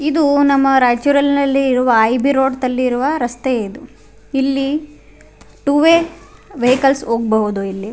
ಇದು ನಮ್ಮ ರಯ್ಚೂರ್ನಲ್ಲಿರುವ ಐ.ಬಿ ರೋಡ್ತಲ್ಲಿ ಇರುವ ರಸ್ತೆ ಇದು ಇಲ್ಲಿ ಟೂ ವೇ ವೆಹಿಕಲ್ಸ್ ಹೋಗ್ಬಹುದು ಇಲ್ಲಿ.